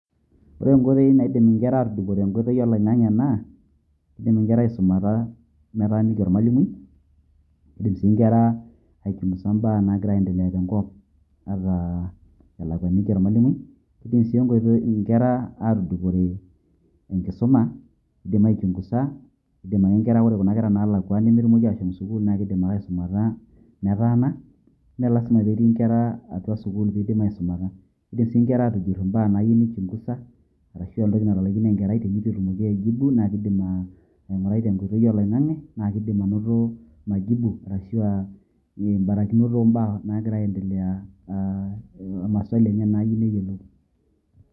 Ore nkoitoi naidim inkera atudupore nkoitoi oloing'ang'e naa, keidim inkera aisumata metaaniki ormalimui, keidim si inkera aichunguza imbaa nagira aiendelea tenkop ata elakwaniki ormalimui. Keidim si enkoitoi inkera atudupore enkisuma eidim aichunguza. Eidim ake nkera Ore kuna kera nalakwaniki sukuul keidim ake aisumata metaana, me lasima petii nkera atua sukuul peidim aisumata. Keidim si nkera atujurr imbaa naayieu nichunguza, ashu entoki natalaikine enkerai teneitu etumoki aijibu na keidim aing'urai tenkoitoi oloing'ang'e, na keidim anoto majibu ashu ah barakinot o mbaa nagira aendelea ah o maswali enye naayieu neyiolou.